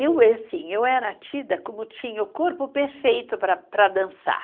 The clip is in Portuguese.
Eu eh assim, eu era tida como tinha o corpo perfeito para para dançar.